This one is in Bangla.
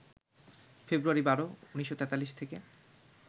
ফেব্রুয়ারি ১২, ১৯৪৩ থেকে